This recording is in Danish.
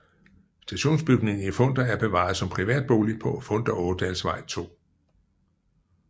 Stationsbygningen i Funder er bevaret som privat bolig på Funder Ådalsvej 2